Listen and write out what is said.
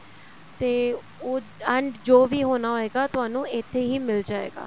ਤੇ ਉਹ and ਜੋ ਵੀ ਹੋਣਾ ਹੋਏਗਾ ਤੁਹਾਨੂੰ ਇੱਥੇ ਹੀ ਮਿਲ ਜਾਏਗਾ